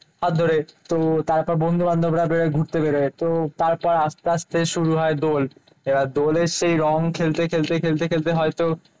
হাত ধরে। তো তারপর বন্ধু বান্ধবরা বেরোয় ঘুরতে বেরোয়। তো তারপর আসতে আসতে শুরু হয় দোল। এবার দোলের সেই রং খেলতে খেলতে খেলতে খেলতে হয়তো